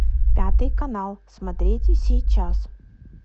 пятый канал смотрите сейчас